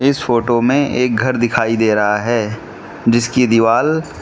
इस फोटो में एक घर दिखाई दे रहा है जिसकी दीवाल --